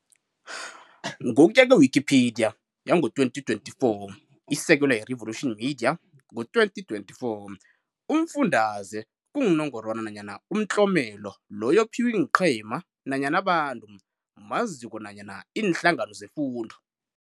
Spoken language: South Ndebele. Ngokuya kwe-Wikipedia, 2024, isekelwa yi-Revolution Media, 2024, umfundaze kungunongwara nanyana umtlomelo loyo ophiwa iinqema nanyana abantu maziko nanyana iinhlangano zefundo.